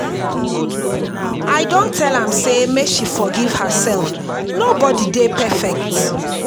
i don tell am sey make she forgive herself nobodi dey perfect.